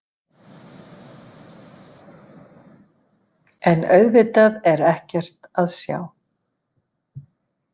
En auðvitað er ekkert að sjá.